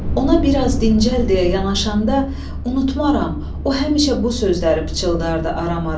Ona bir az dincəl deyə yanaşanda unudmaram, o həmişə bu sözləri pıçıldardı aram-aram.